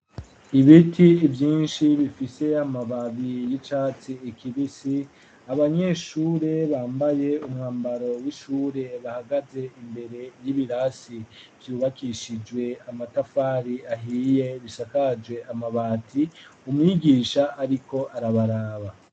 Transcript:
Ibiti vyinshi bifise amababi y'icatsi kibisi abanyeshure bambaye umwambaro w'ishure bahagaze imbere y'ibirasi vyubakishijwe amatafari ahiye bisakaje amabati umwigisha ariko arabaraba.